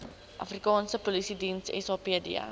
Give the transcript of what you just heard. afrikaanse polisiediens sapd